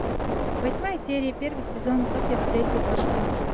восьмая серия первый сезон как я встретил вашу маму